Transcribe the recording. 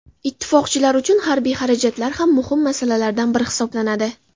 Ittifoqchilar uchun harbiy xarajatlar ham muhim masalalardan biri hisoblanadi.